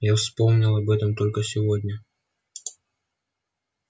я вспомнил об этом только сегодня